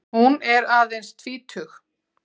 Hún er aðeins tvítug.